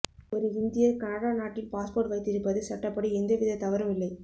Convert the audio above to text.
ஒரு இந்தியர் கனடா நாட்டின் பாஸ்போர்ட் வைத்திருப்பது சட்டப்படி எந்தவித தவறும் இல்லை